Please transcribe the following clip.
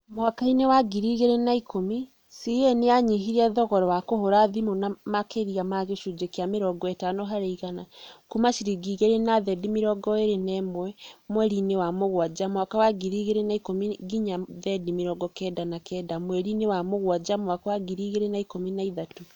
Mwaka-inĩ wa ngiri igĩrĩ na ĩkũmi, CA nĩ yanyihirie thogora wa kũhũra thimũ na makĩria ma gĩcunjĩ kĩa mĩrongo ĩtano harĩ igana, kuuma ciringi igĩrĩ na thendi mĩrongo ĩrĩ na ĩmwe mweri-inĩ wa mũgwanja mwaka wa ngiri igĩrĩ na ĩkũmi nginya thendi mĩrongo kenda na kenda mweri-inĩ wa mũgwanja mwaka wa ngiri igĩrĩ na ĩkũmi na ithatũ.